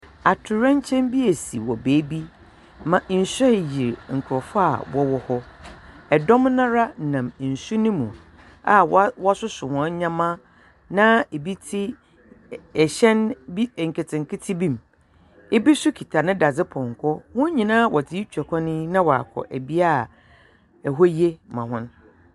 Atoyerɛnkyɛm bi esi wɔ beebi ma nsu reyir nkorɔfo a wɔwɔ hɔ. Ɛdɔm no ara nam nsu no mu a wɔ wɔsosos hɔn ndzɛmba na ɛbi tse ɛ ɛhyɛn bi nketenkete bi mu. Bi nso kita ne dadze pɔnkɔ. Hɔn nyinaa wɔdze retwa kwan yi na wɔakɔ bea a ɛhɔ ye ma hɔn.